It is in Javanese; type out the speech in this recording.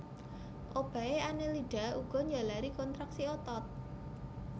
Obahé Annelida uga njalari kontraksi otot